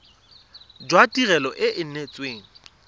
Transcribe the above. jwa tirelo e e neetsweng